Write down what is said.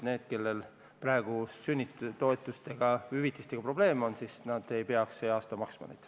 Need, kellel praegu sünnitoetuste või -hüvitistega probleem on, ei peaks seda selle aasta eest maksma.